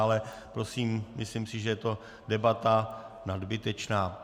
Ale prosím, myslím si, že je to debata nadbytečná.